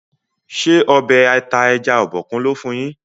ṣe Ọbẹ̀ ata ẹja Obokun lò fún yín?